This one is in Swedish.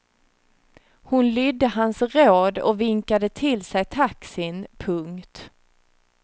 Hon lydde hans råd och vinkade till sig taxin. punkt